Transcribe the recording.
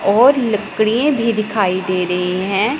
और लकड़ीये भी दिखाई दे रहे हैं।